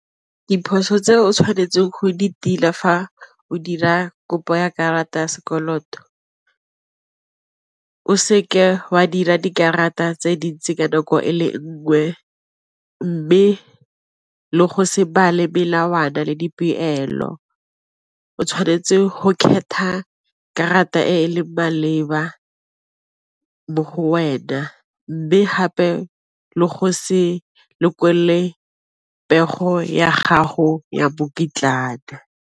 Diphoso tse o tshwanetseng go di tila fa o dira kopo ya karata ya sekoloto, o seke wa dira dikarata tse di itse ka nako e le nngwe, mme le go se bale melawana le dipelo. O tshwanetse go khetha karata e leng maleba mo go wena mme gape le go se pego ya gago ya .